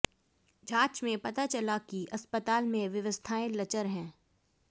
जाँच में पता चला है कि अस्पताल में व्यवस्थाएँ लचर हैं